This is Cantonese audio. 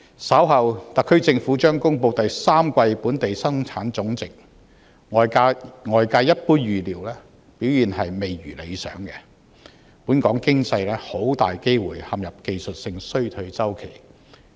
稍後，特區政府將公布第三季本地生產總值，外界一般預料表現未如理想，本港經濟很大機會陷入技術性衰退。